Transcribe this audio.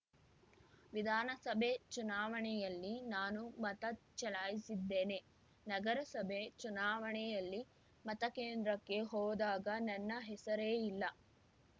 ವಿಧಾನಸಭೆ ಚುನಾವಣೆಯಲ್ಲಿ ನಾನು ಮತ ಚಲಾಯಿಸಿದ್ದೇನೆ ನಗರಸಭೆ ಚುನಾವಣೆಯಲ್ಲಿ ಮತಕೇಂದ್ರಕ್ಕೆ ಹೋದಾಗ ನನ್ನ ಹೆಸರೇ ಇಲ್ಲ